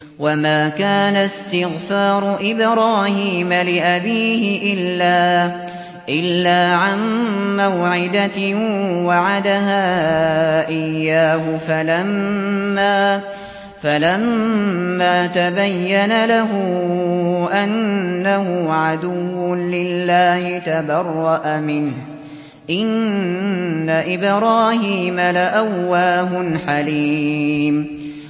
وَمَا كَانَ اسْتِغْفَارُ إِبْرَاهِيمَ لِأَبِيهِ إِلَّا عَن مَّوْعِدَةٍ وَعَدَهَا إِيَّاهُ فَلَمَّا تَبَيَّنَ لَهُ أَنَّهُ عَدُوٌّ لِّلَّهِ تَبَرَّأَ مِنْهُ ۚ إِنَّ إِبْرَاهِيمَ لَأَوَّاهٌ حَلِيمٌ